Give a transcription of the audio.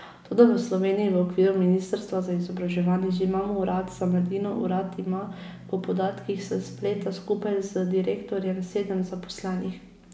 Toda v Sloveniji v okviru ministrstva za izobraževanje že imamo urad za mladino, urad ima po podatkih s spleta skupaj z direktorjem sedem zaposlenih.